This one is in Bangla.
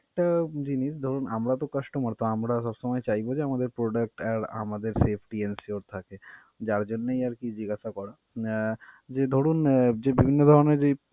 ~টা জিনিস ধরুন আমরা তো customer তো আমরা সবসময় চাইবো যে আমাদের product আর আমাদের safety, যার জন্যই আর কি জিজ্ঞাসা করা. আহ ধরুন যে বিভিন্ন ধরনের যেই.